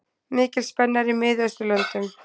Mikil spenna er í Miðausturlöndum.